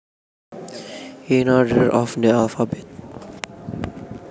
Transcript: In order of the alphabet